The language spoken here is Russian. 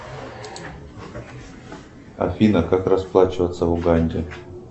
афина как расплачиваться в уганде